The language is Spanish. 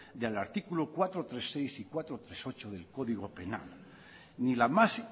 y al artículo cuatro punto tres punto seis y cuatro punto tres punto ocho del código penal ni la más